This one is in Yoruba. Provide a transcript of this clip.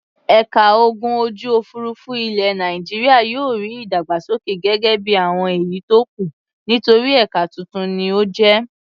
Ẹ̀ka ogun ojú-òfurufú ilẹ̀ Nàìjíríà yóò rí ìdàgbàsókè gẹ́gẹ́ bí àwọn èyí tó kù nítorí ẹ̀ka tuntun ni ó jẹ́.